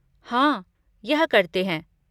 हाँ, यह करते हैं।